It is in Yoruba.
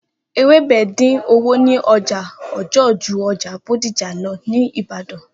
Ewebẹ din owo ni oja ọjọ ju ọjà Bódìjà lọ ni Ìbàdàn